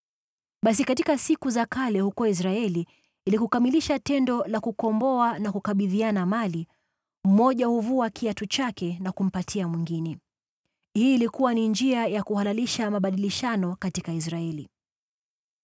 (Basi katika siku za kale huko Israeli, ili kukamilisha tendo la kukomboa na kukabidhiana mali, mmoja huvua kiatu chake na kumpatia mwingine. Hii ilikuwa ni njia ya kuhalalisha mabadilishano katika Israeli.)